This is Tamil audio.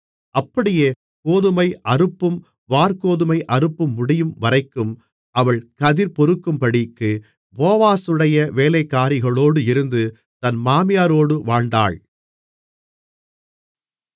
அப்படியே கோதுமை அறுப்பும் வாற்கோதுமை அறுப்பும் முடியும்வரைக்கும் அவள் கதிர் பொறுக்கும்படிக்கு போவாசுடைய வேலைக்காரிகளோடு இருந்து தன் மாமியாரோடு வாழ்ந்தாள்